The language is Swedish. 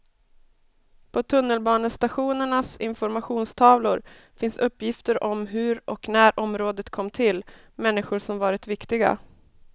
På tunnelbanestationernas informationstavlor finns uppgifter om hur och när området kom till, människor som varit viktiga.